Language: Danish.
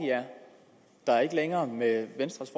er ikke længere med venstres